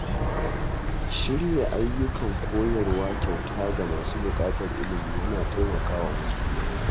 Shirya ayyukan koyarwa kyauta ga masu buƙatar ilimi yana taimaka wa mutane.